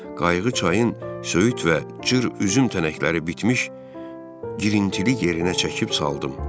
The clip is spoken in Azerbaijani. Qayığı çayın söyüd və cır üzüm tənəkləri bitmiş girintili yerinə çəkib çaldım.